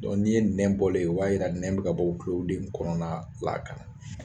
Dɔnku n'i ye nɛn bɔlen ye, o b'a jira nɛn bɛ ka bɔ tulo de kɔnɔna la ka na